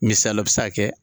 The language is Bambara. Misisala o bɛ se ka kɛ.